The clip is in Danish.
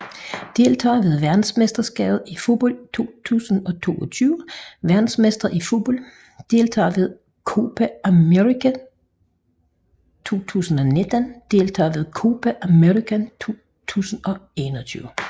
Deltagere ved verdensmesterskabet i fodbold 2022 Verdensmestre i fodbold Deltagere ved Copa América 2019 Deltagere ved Copa América 2021